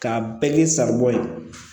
K'a bɛɛ k'i sago ye